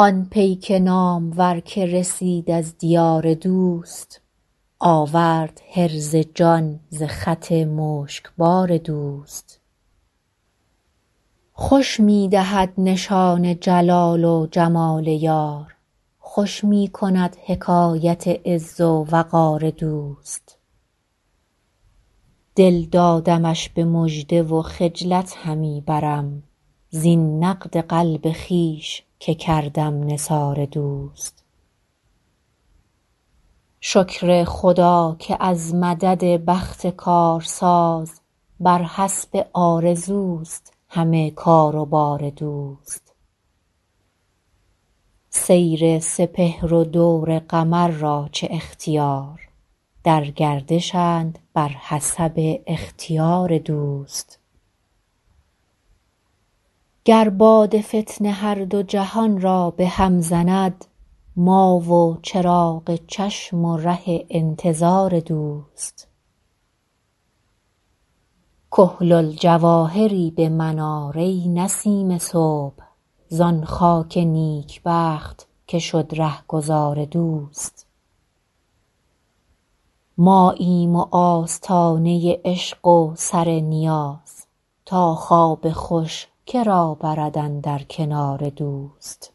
آن پیک نامور که رسید از دیار دوست آورد حرز جان ز خط مشکبار دوست خوش می دهد نشان جلال و جمال یار خوش می کند حکایت عز و وقار دوست دل دادمش به مژده و خجلت همی برم زین نقد قلب خویش که کردم نثار دوست شکر خدا که از مدد بخت کارساز بر حسب آرزوست همه کار و بار دوست سیر سپهر و دور قمر را چه اختیار در گردشند بر حسب اختیار دوست گر باد فتنه هر دو جهان را به هم زند ما و چراغ چشم و ره انتظار دوست کحل الجواهری به من آر ای نسیم صبح زان خاک نیکبخت که شد رهگذار دوست ماییم و آستانه عشق و سر نیاز تا خواب خوش که را برد اندر کنار دوست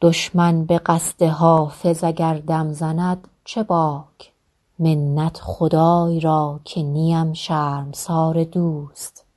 دشمن به قصد حافظ اگر دم زند چه باک منت خدای را که نیم شرمسار دوست